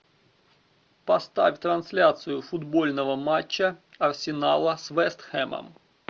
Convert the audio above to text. поставь трансляцию футбольного матча арсенала с вест хэмом